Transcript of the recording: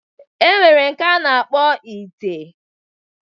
E nwere nke a na-akpọ ite.